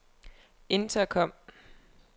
intercom